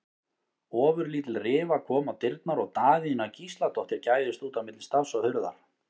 Ofurlítil rifa kom á dyrnar og Daðína Gísladóttir gægðist út á milli stafs og hurðar.